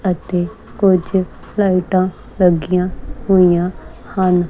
ਇਥੇ ਕੁਝ ਲਾਈਟਾਂ ਲੱਗੀਆਂ ਹੋਈਆਂ ਹਨ।